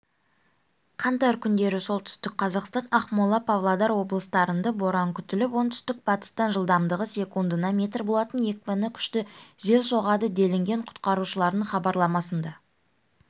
қаңтар күндері солтүстік қазақстан ақмола павлодар облыстарынды боран күтіліп оңтүстік-батыстан жылдамдығы секундына метр болатын екпіні күшті жел соғады делінген құтқарушылардың хабарламасында